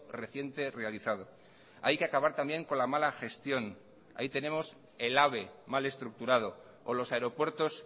reciente realizado hay que acabar también con la mala gestión ahí tenemos el ave mal estructurado o los aeropuertos